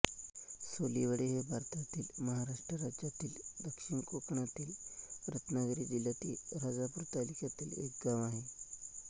सोलीवडे हे भारतातील महाराष्ट्र राज्यातील दक्षिण कोकणातील रत्नागिरी जिल्ह्यातील राजापूर तालुक्यातील एक गाव आहे